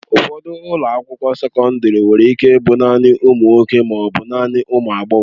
Ụfọdụ ụlọ akwụkwọ sekọndrị nwere ike ịbụ naanị ụmụ nwoke ma ọ bụ naanị ụmụ agbọghọ.